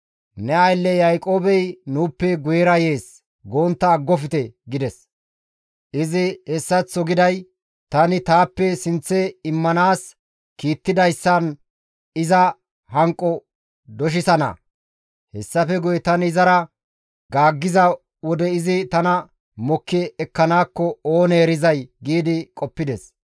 ‹Ne aylle Yaaqoobey nuuppe guyera yees› gontta aggofte» gides; izi hessaththo giday, «Tani taappe sinththe immanaas kiittidayssan iza hanqo doshisana; hessafe guye tani izara gaaggiza wode izi tana mokki ekkanaakko oonee erizay» gi qoppides.